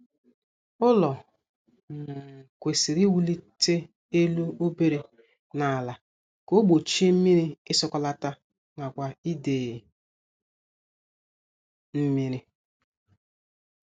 Ụlọ um kwesịrị iwulite elu obere n' ala ka o gbochie mmiri isọkọlata nakwa ide mmiri